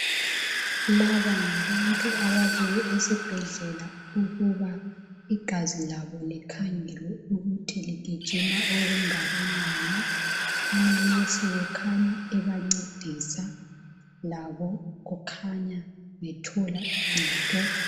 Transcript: Laba ngabantu ababuye esibhedlela ukuba igazi labo likhangelwe ukuthi ligijima okungakanani, amanesi kukhanya ebancedisa labo kukhanya bethola uncedo.